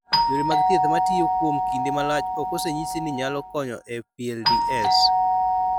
Yore mag thieth ma tiyo kuom kinde malach ok osenyis ni nyalo konyo e PLDS.